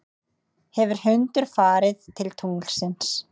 hefur hundur farið til tunglsins